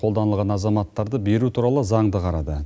қолданылған азаматтарды беру туралы заңды қарады